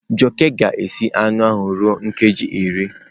Jioke ga-esi anụ ahụ ruo nkeji iri.